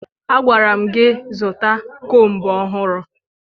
Agwara m gị zụta kombu ọhụrụ!